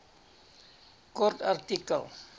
kort artikel